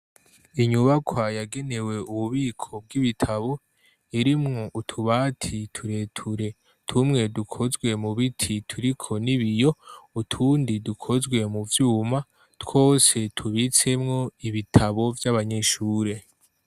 Inyubakwa yagenewe ububiko bw'ibitabo irimwo utubati tureture tumwe dukozwe mubiti turiko n'ibiyo utundi dukozwe muvyuma twose tubitsemwo ibitabo vy'abanyeshure.